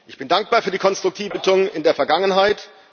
Ich bin dankbar für die konstruktive Haltung in der Vergangenheit.